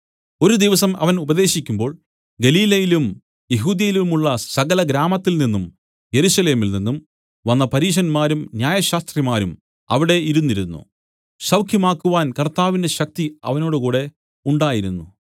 ഒരു ദിവസം അവൻ ഉപദേശിക്കുമ്പോൾ ഗലീലയിലും യെഹൂദ്യയിലുമുള്ള സകലഗ്രാമത്തിൽനിന്നും യെരൂശലേമിൽ നിന്നും വന്ന പരീശന്മാരും ന്യായശാസ്ത്രിമാരും അവിടെ ഇരുന്നിരുന്നു സൌഖ്യമാക്കുവാൻ കർത്താവിന്റെ ശക്തി അവനോടുകൂടെ ഉണ്ടായിരുന്നു